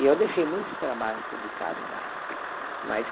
E eu deixei muitos trabalhos publicados lá, mais de